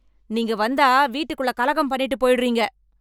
நீங்க வந்தா வீட்டுக்குள்ள கலகம் பண்ணிட்டு போயிடுறீங்க